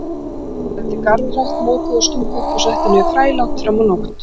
Þeir ræddu garðrækt, mokuðu, stungu upp og settu niður fræ langt fram á nótt.